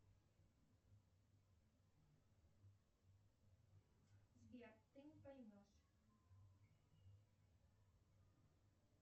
сбер ты не поймешь